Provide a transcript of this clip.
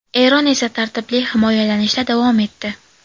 Eron esa tartibli himoyalanishda davom etdi.